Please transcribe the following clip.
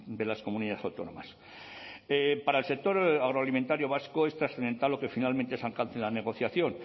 de las comunidades autónomas para el sector agroalimentario vasco es trascendental lo que finalmente se alcance en la negociación